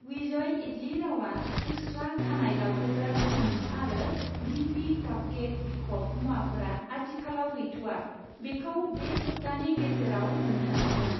विजय इडली रावा, उस्त्रा खानाय लावहोग्रा क्रिम आरो दिपि कापकेक बिखब मुवाफोरा आथिखालाव गैथ'आ, बेखौ बे सप्तानि गेजेराव मोन्नो हागोन।